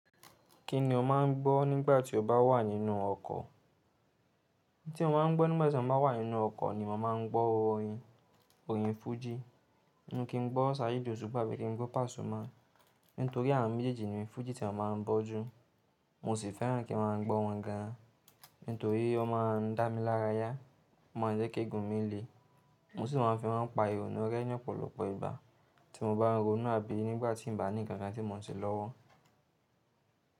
Kí ni o má ń gbọ́ nígbà tí o bá wà nínú ọkọ̀? In ti mo má ń gbọ́ nígbà tí mo bá wà nínú ọkọ̀ ni mo màá ń gbọ́ orin, orin fújì. Ninu kí ń gbọ́ Saheed Osupa àbí kí ń gbọ́ Pasuma. Nítorí àwọn méjèèjì ni fújì tí a má ń gbọ́ jù. Mo sì fẹ́ràn kí n máa ń gbọ́ wọn gan an. Nítorí ó má a ń dá mi lára yá, ó má ń jẹ́ kí eegun mi le. Mo sì máa ń fi won pa ìrònú rẹ́ ní ọ̀pọ̀lọpọ̀ ìgba tí mo bá rònú àbí nígbà tí ǹ bá ní nǹkan kan tí mo ń ṣe lọ́wọ́.